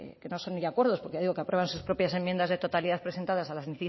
que no son ya acuerdos porque ya digo que aprueban sus propias enmiendas de totalidad presentadas a las